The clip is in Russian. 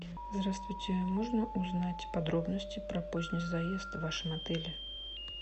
здравствуйте можно узнать подробности про поздний заезд в вашем отеле